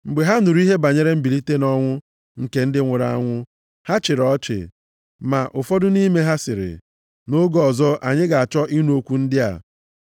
Mgbe ha nụrụ ihe banyere mbilite nʼọnwụ nke ndị nwụrụ anwụ, ha chịrị ya ọchị. Ma ụfọdụ nʼime ha sịrị, “Nʼoge ọzọ anyị ga-achọ ịnụ okwu ndị a.”